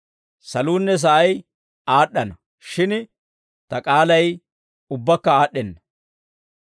Saluunne sa'ay aad'd'ana; shin ta k'aalay ubbakka aad'd'enna.